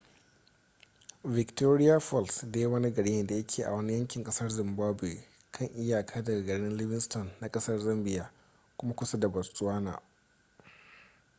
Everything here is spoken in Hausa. victoria falls dai wani gari ne da yake a wani yankin kasar zimbabwe kan iyaka daga garin livingstone na kasar zambia kuma kusa da botswana